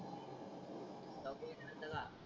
सांगत का